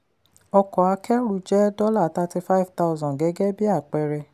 ọkọ̀ akẹ́rù jẹ́ $35000 gẹ́gẹ́ bí àpẹẹrẹ.